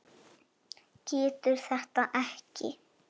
Getur þetta ekki.